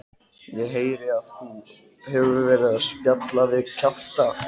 Ég heyri að þú hefur verið að spjalla við kjafta